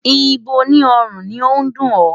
Ibo ní ọrùn ni ó dùn ọ́?